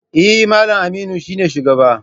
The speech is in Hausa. Eh, Mallam Aminu shine shugaba.